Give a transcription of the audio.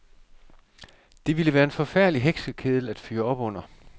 Det ville være en forfærdelig heksekedel at fyre op under.